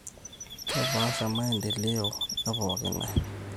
Kepaasha maendeleo epong`i ng`ae.